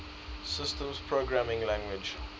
systems programming languages